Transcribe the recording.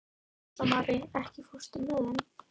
Rósmarý, ekki fórstu með þeim?